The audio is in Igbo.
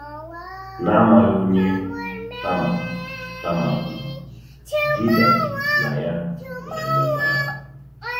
N’amaghị onye Tama Tama bụ, Juda na ya nwere mmekọahụ.